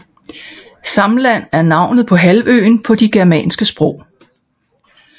Samland er navnet på halvøen på de germanske sprog